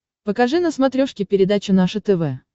покажи на смотрешке передачу наше тв